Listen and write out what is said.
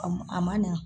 A m a ma na